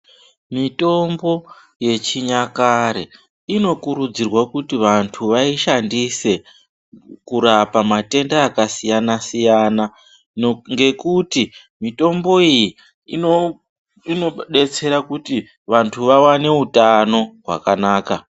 Mitombo yechinyakare inokurudzirwa kuti vantu vaishandise kurapa matenda akasiyana-siyana ngekuti mitombo iyi inodetsera kuti vantu vawane utano hwakanaka.